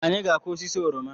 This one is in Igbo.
Anyị-ga akụ osisi oroma